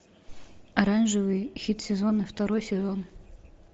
оранжевый хит сезона второй сезон